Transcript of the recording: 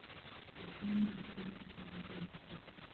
татьяне михайловне жариковой